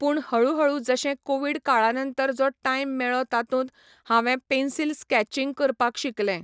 पूण हळूहळू जशें कोविड काळा नंतर जो टायम मेळ्ळो तातूंत, हांवें पॅन्सील स्कॅचिंग करपाक शिकलें.